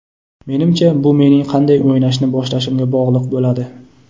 Menimcha, bu mening qanday o‘ynashni boshlashimga bog‘liq bo‘ladi.